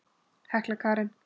Hekla Karen.